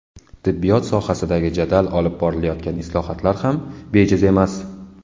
Tibbiyot sohasidagi jadal olib borilayotgan islohotlar ham bejiz emas.